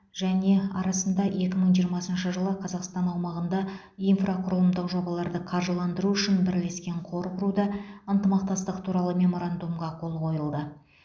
және арасында екі мың жиырмасыншы жылы қазақстан аумағында инфрақұрылымдық жобаларды қаржыландыру үшін бірлескен қор құруда ынтымақтастық туралы меморандумға қол қойылды